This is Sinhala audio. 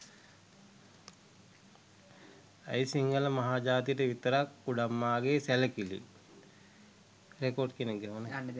ඇයි සිංහළ මහජාතියට විතරක් කුඩම්මාගේ සැළකිළි?